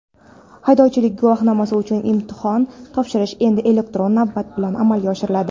Haydovchilik guvohnomasi uchun imtihon topshirish endi elektron navbat bilan amalga oshiriladi.